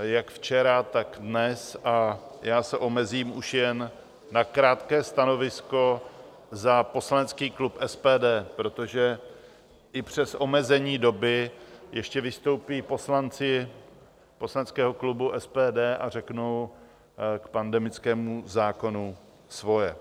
jak včera, tak dnes, a já se omezím už jen na krátké stanovisko za poslanecký klub SPD, protože i přes omezení doby ještě vystoupí poslanci poslaneckého klubu SPD a řeknou k pandemickému zákonu svoje.